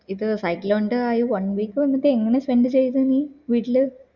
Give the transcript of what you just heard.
ഇത് site ല് ഉണ്ട് ആയി one week വന്നിട്ട് എങ്ങനെ spend ചെയ്ത് നീ വീട്ടില്